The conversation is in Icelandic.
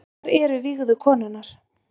Hvar eru vígðu konurnar